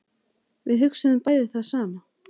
Við hugsuðum bæði það sama.